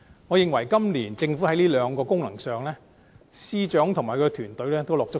我認為，今年的預算案在這兩項功能上，司長及其團隊也很用心。